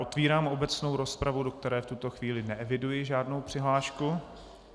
Otevírám obecnou rozpravu, do které v tuto chvíli neeviduji žádnou přihlášku.